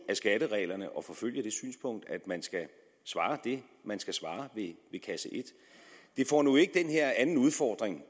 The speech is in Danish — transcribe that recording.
af skattereglerne at forfølge det synspunkt at man skal svare det man skal svare ved kasse et det får nu ikke den her anden udfordring